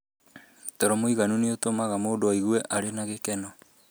Toro múiganu nĩ ũtũmaga mũndũ aigue arĩ na gĩkeno.